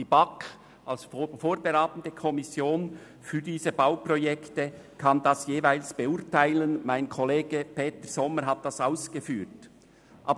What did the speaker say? Die BaK als vorberatende Kommission für diese Bauprojekte kann dies jeweils beurteilen, wie mein Kollege Grossrat Sommer ausgeführt hat.